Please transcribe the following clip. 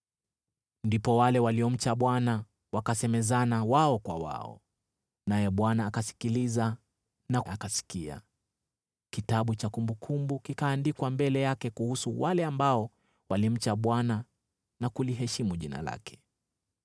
Ndipo wale waliomcha Bwana wakasemezana wao kwa wao, naye Bwana akasikiliza na akasikia. Kitabu cha kumbukumbu kikaandikwa mbele yake kuhusu wale ambao walimcha Bwana na kuliheshimu jina lake.